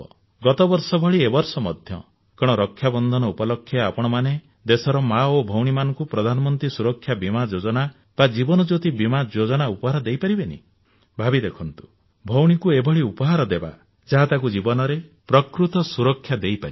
ଗତ ବର୍ଷ ଭଳି ଏ ବର୍ଷ ମଧ୍ୟ କଣ ରକ୍ଷାବନ୍ଧନ ଉପଲକ୍ଷେ ଆପଣମାନେ ଦେଶର ମା ଓ ଭଉଣୀମାନଙ୍କୁ ପ୍ରଧାନମନ୍ତ୍ରୀ ସୁରକ୍ଷା ବୀମା ଯୋଜନା ବା ଜୀବନ ଜ୍ୟୋତି ବୀମା ଯୋଜନା ଉପହାର ଦେଇ ପାରିବେନି ଭାବି ଦେଖନ୍ତୁ ଭଉଣୀକୁ ଏଭଳି ଉପହାର ଦେବା ଯାହା ତାକୁ ଜୀବନରେ ପ୍ରକୃତ ସୁରକ୍ଷା ଦେଇପାରିବ